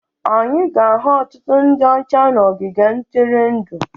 Anyị ga-ahụ ọtụtụ ndị ọcha na ogige ntụrụndụ